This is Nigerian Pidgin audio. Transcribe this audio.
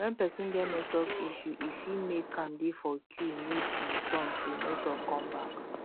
when persin get network issuse e fit make am de for queue miss im turn till network come back